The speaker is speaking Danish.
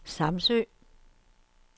Samsø